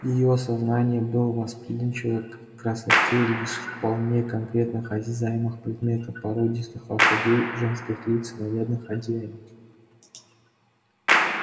её сознание было восприимчиво к красоте лишь вполне конкретных осязаемых предметов породистых лошадей женских лиц нарядных одеяний